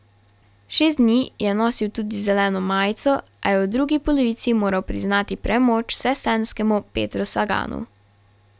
Šest dni je nosil tudi zeleno majico, a je v drugi polovici moral priznati premoč vsestranskemu Petru Saganu.